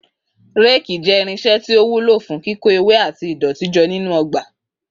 Rakes jẹ́ irinṣẹ́ tí ó wúlò fún kíkó ewé àti ìdọ̀tí jọ nínú ọgbà.